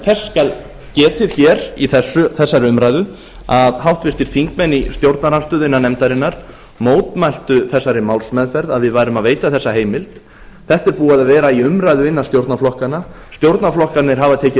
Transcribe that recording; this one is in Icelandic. þess skal getið hér í þessari umræðu að háttvirtir þingmenn í stjórnarandstöðu innan nefndarinnar mótmæltu þessari málsmeðferð að við værum að veita þessa heimild þetta er búið að vera í umræðu innan stjórnarflokkanna stjórnarflokkarnir hafa tekið